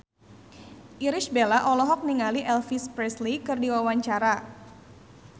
Irish Bella olohok ningali Elvis Presley keur diwawancara